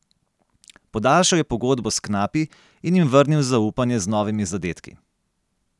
Podaljšal je pogodbo s knapi in jim vrnil zaupanje z novimi zadetki.